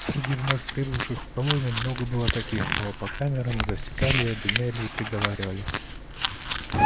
среди вновь прибывших в колонию много было таких кого по камерам и засекали и обвиняли и приговаривали